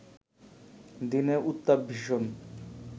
দিনে উত্তাপ ভীষণ